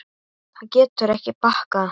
Það getur ekki bakkað.